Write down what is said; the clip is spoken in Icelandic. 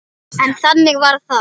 En þannig varð það.